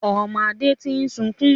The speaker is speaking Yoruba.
Ọmọ Adé tí ń sunkún